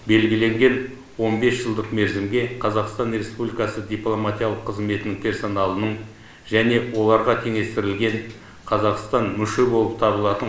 белгіленген он бес жылдық мерзімге қазақстан республикасы дипломатиялық қызметінің персоналының және оларға теңестірілген қазақстан мүше болып табылатын